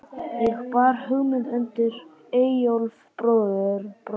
Ég bar hugmynd undir Eyjólf bróður.